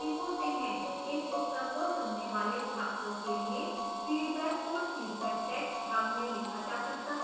इस उत्तर को चुनने वाले छात्रों के लिए फीडबैक को feedback text भाग में लिखा जा सकता